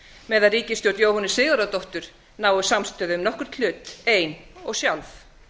með að ríkisstjórn jóhönnu sigurðardóttur nái samstöðu um nokkurn hlut ein og sjálf